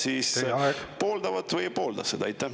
Kas nemad siis pooldavad või ei poolda seda?